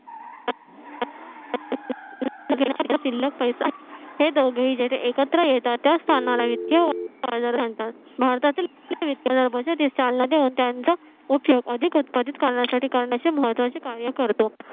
शिल्लक पैसा हे दोघेहि जिथे एकत्र येतात. त्या स्थानाला वित्तीय बाजार म्हणतात भारतातील वित्तीय चालना देऊन त्यांचा उपयोग अधिक उत्पादित करण्यासाठी महत्त्वाची कार्य करतो.